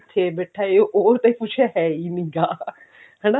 ਇੱਥੇ ਬੈਠੇ ਉਹ ਤੇ ਕੁਛ ਹੈ ਹੀ ਨਹੀ ਹੈਗਾ ਹਨਾ